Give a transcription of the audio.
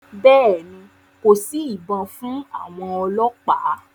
Bẹ́ẹ̀ ni, kò sí ibọn fún àwọn ọlọ́pàá.